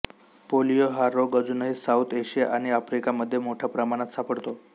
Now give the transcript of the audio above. polio हा रोग अजूनही साऊथ आशिया आणि आफ्रिका मध्ये मोठ्या प्रमाणात सापडतो